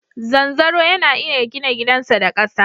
Zanzaro yana iya gina gidansa da ƙasa.